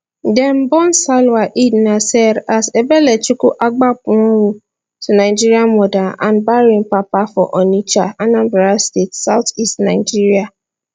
dem born salwa eid naser as ebelechukwu agbapuonwu to nigerian mother and bahrain papa for onitsha anambra state south east nigeria